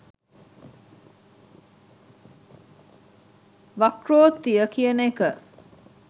වක්‍රෝත්තිය කියන එක